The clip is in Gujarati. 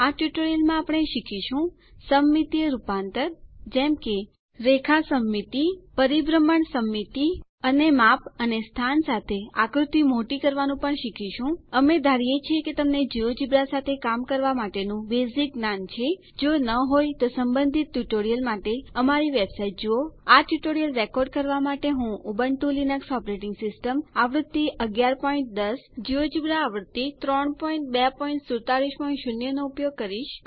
આ ટ્યુટોરીયલમાં આપણે શીખીશું સમમિતીય રૂપાંતર જેમ કે લાઇન સિમેટ્રી એટલે કે લાઈન સમમિતિ રોટેશન સિમેટ્રી એટલે કે પરિભ્રમણ સમમિતિ અને માપ અને સ્થાન સાથે આકૃતિ મોટી કરવાનું પણ શીખીશું અમે ધારીએ છીએ કે તમને જિયોજેબ્રા સાથે કામ કરવા માટે નું બેઝીક જ્ઞાન છે જો ન હોય તો સંબંધિત ટ્યુટોરીયલ માટે અમારી વેબસાઇટ જુઓ આ ટ્યુટોરીયલ રેકોર્ડ કરવા માટે હું ઉબુન્ટુ લિનક્સ ઓપરેટિંગ સિસ્ટમ આવૃત્તિ 1110 અને જિયોજેબ્રા આવૃત્તિ 32470 નો ઉપયોગ કરી રહી છું